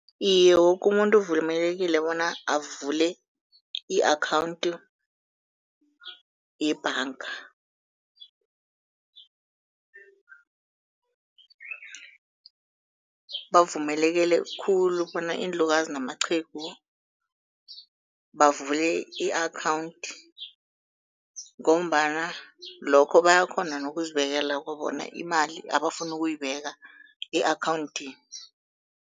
Iye, woke umuntu uvumelekile bona avule i-akhawunthu yebhanga. Bavumelekele khulu bona iinlukazi namaqhegu bavule i-akhawunthi, ngombana lokho bayakghona nokuzibekela imali abafuna ukuyibeka e-akhawunthini.